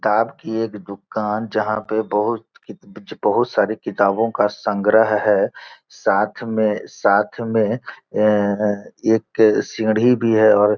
ताव की एक दुकान जहाँ पे बहुत कि बहुत सारी किताबों का संग्रह है। साथ में साथ में अम्म एक सीढ़ी भी है और--